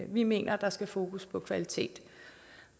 vi mener at der skal fokus på kvalitet